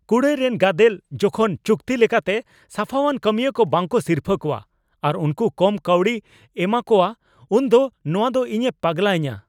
ᱠᱩᱲᱟᱹᱭ ᱨᱮᱱ ᱜᱟᱫᱮᱞ ᱡᱚᱠᱷᱚᱱ ᱪᱩᱠᱛᱤ ᱞᱮᱠᱟᱛᱮ ᱥᱟᱯᱷᱟᱣᱟᱱ ᱠᱟᱹᱢᱤᱭᱟᱹ ᱠᱚ ᱵᱟᱠᱚ ᱥᱤᱨᱯᱷᱟᱹ ᱠᱚᱣᱟ ᱟᱨ ᱩᱱᱠᱩ ᱠᱚᱢ ᱠᱟᱹᱣᱰᱤᱭ ᱮᱢᱟ ᱠᱚᱣᱟ ᱩᱱ ᱫᱚ ᱱᱚᱶᱟ ᱫᱚ ᱤᱧᱮ ᱯᱟᱜᱞᱟᱧᱟ ᱾